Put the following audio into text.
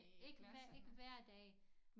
Ikke ikke hver dag